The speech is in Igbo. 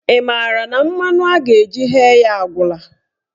Ị maara na mmanụ a ga-eji ghee ya agwụla?